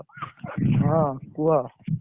ହଁ, କୁହ